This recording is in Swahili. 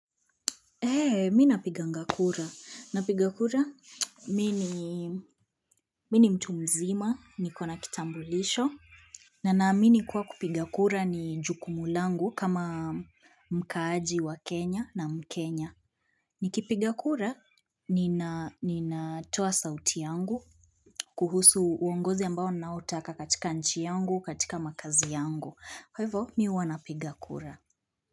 He mi napiganga kura napiga kura mini mtu mzima niko na kitambulisho. Na naamini kuwa kupiga kura ni jukumu langu kama mkaaji wa kenya na mkenya. Nikipiga kura ninatoa sauti yangu. Kuhusu uongozi ambao naotaka katika nchi yangu katika makazi yangu kwa hivo mi huwa napiga kura.